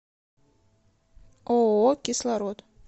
ооо кислород